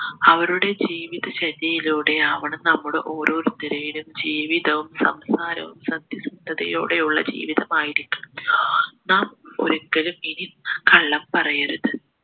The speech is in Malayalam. അവരുടെ ജീവിതചര്യയിലൂടെയാവണം നമ്മൾ ഓരോരുത്തരുടെയും ജീവിതവും സംസാരവും സത്യസന്ധതയോടെയുള്ള ജീവിതമായിരിക്കണം നാം ഒരിക്കലും ഇനി കള്ളം പറയരുത്